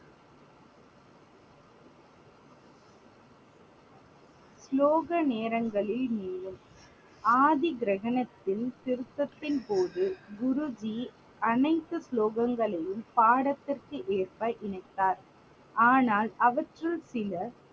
ஸ்லோக நேரங்களின் ஆதி கிரந்தத்தின் திருத்தத்தின் போது குருஜி அனைத்து ஸ்லோகங்ளையும் பாடத்துக்கு ஏற்ப இணைத்தார். ஆனால் அவற்றுள் சில